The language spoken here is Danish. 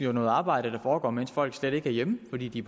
jo noget arbejde der foregår mens folk slet ikke er hjemme fordi de